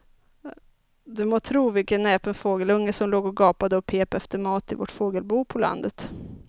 Du må tro vilken näpen fågelunge som låg och gapade och pep efter mat i vårt fågelbo på landet.